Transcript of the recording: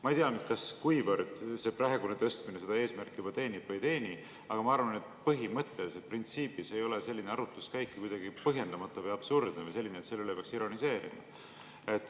Ma ei tea, kuivõrd see praegune tõstmine seda eesmärki juba teenib või ei teeni, aga ma arvan, et põhimõtteliselt, printsiibina ei ole selline arutluskäik kuidagi põhjendamatu ega absurdne või selline, et selle üle peaks ironiseerima.